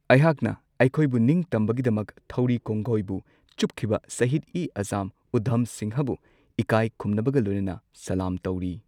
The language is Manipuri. ꯑꯩꯍꯥꯛꯅ ꯑꯩꯈꯣꯏꯕꯨ ꯅꯤꯡꯇꯝꯕꯒꯤꯗꯃꯛ ꯊꯧꯔꯤ ꯀꯣꯡꯒꯣꯢꯕꯨ ꯆꯨꯞꯈꯤꯕ ꯁꯍꯤꯗ ꯏ ꯑꯖꯝ ꯎꯙꯝ ꯁꯤꯡꯍꯕꯨ ꯏꯀꯥꯏ ꯈꯨꯝꯅꯕꯒ ꯂꯣꯏꯅꯅ ꯁꯂꯥꯝ ꯇꯧꯔꯤ꯫